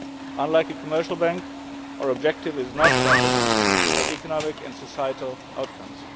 Unlike a commercial bank, our objective is not profit, but economic and societal outcomes.